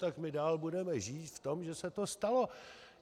Tak my dál budeme žít v tom, že se to stalo.